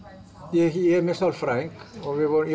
ég er með sálfræðing og við vorum